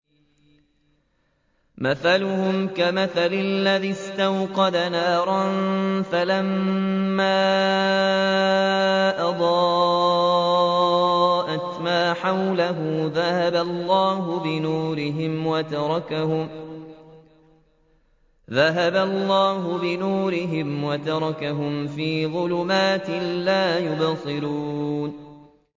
مَثَلُهُمْ كَمَثَلِ الَّذِي اسْتَوْقَدَ نَارًا فَلَمَّا أَضَاءَتْ مَا حَوْلَهُ ذَهَبَ اللَّهُ بِنُورِهِمْ وَتَرَكَهُمْ فِي ظُلُمَاتٍ لَّا يُبْصِرُونَ